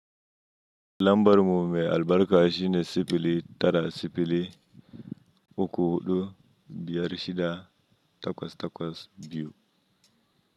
Lambar mu mai albarka shine siffili tara siffili uku duk biyar shida takwas takwas biyu.